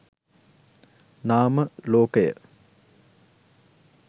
නාම ලෝකය